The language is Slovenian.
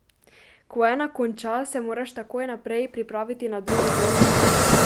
Ko ena konča, se moraš takoj naprej pripraviti na drugo borko.